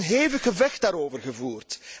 Er wordt een hevig gevecht daarover gevoerd.